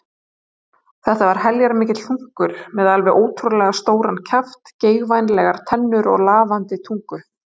Þetta var heljarmikill hlunkur með alveg ótrúlega stóran kjaft, geigvænlegar tennur og lafandi tungu.